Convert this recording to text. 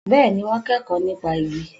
Bẹ́ẹ̀ni, wọ́n kẹ́kọ̀ọ́ nípa igi